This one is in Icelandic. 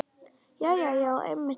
Jæja já, einmitt það.